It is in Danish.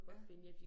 Ja